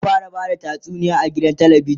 za'a fara Bada tatsuniya a gidan talabijan